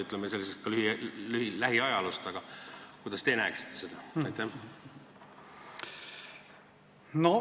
Te andsite ülevaate lähiajaloost, aga kuidas te praegust olukorda näeksite?